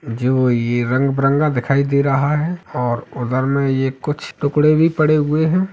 जो ये रंग बरंगा दिखाई दे रहा है और उधर में ये कुछ टुकड़े भी पड़े हुए हैं।